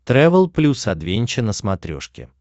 трэвел плюс адвенча на смотрешке